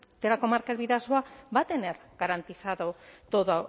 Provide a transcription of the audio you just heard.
de la comarca del bidasoa va a tener garantizado todo